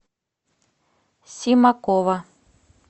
симакова